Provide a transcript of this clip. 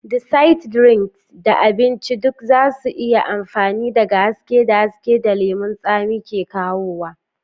Desserts, drinks, da abinci duk za su iya amfana daga haske da haske da lemun tsami ke kawowa.